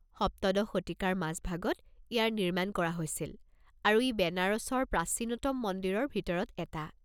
সপ্তদশ শতিকাৰ মাজভাগত ইয়াৰ নিৰ্মাণ কৰা হৈছিল আৰু ই বেনাৰসৰ প্ৰাচীনতম মন্দিৰৰ ভিতৰত এটা।